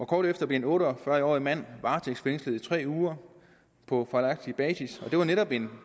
kort efter blev en otte og fyrre årig mand varetægtsfængslet i tre uger på fejlagtig basis og det var netop en